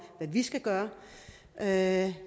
at